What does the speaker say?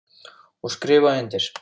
Og skrifa undir.